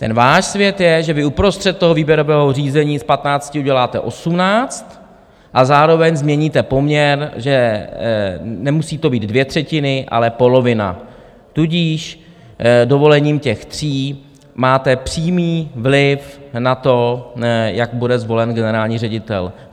Ten váš svět je, že vy uprostřed toho výběrového řízení z 15 uděláte 18 a zároveň změníte poměr, že to nemusí být dvě třetiny, ale polovina, tudíž dovolením těch tří máte přímý vliv na to, jak bude zvolen generální ředitel.